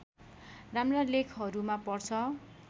राम्रा लेखहरूमा पर्छ